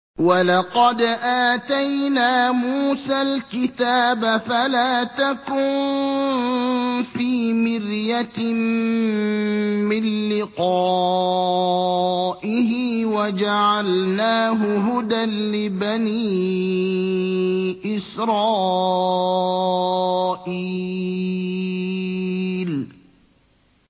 وَلَقَدْ آتَيْنَا مُوسَى الْكِتَابَ فَلَا تَكُن فِي مِرْيَةٍ مِّن لِّقَائِهِ ۖ وَجَعَلْنَاهُ هُدًى لِّبَنِي إِسْرَائِيلَ